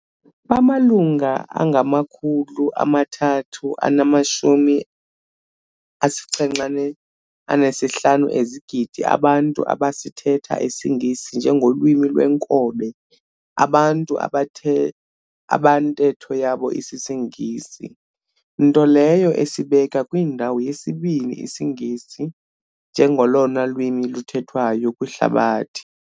Bamalunga na-375 ezigidi abantu abasithetha isingesi nje ngolwimi lweenkobe abantu abathe abantetho yabo isisiNgesi, nto leyo esibeka kwindawo yesibini isiNgesi njengolona lwimi luthethwayo kwihlabathi.